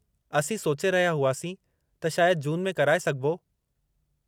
असीं सोचे रहिया हुआसीं त शायदि जून में कराए सघिबो?